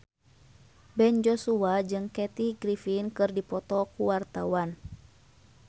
Ben Joshua jeung Kathy Griffin keur dipoto ku wartawan